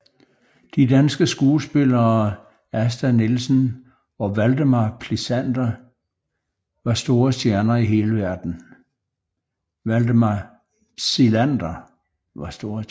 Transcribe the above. De danske skuespillere Asta Nielsen og Valdemar Psilander var store stjerner i hele verden